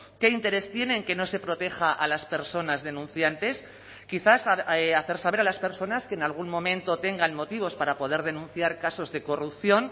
qué interés tiene en que no se proteja a las personas denunciantes quizás hacer saber a las personas que en algún momento tengan motivos para poder denunciar casos de corrupción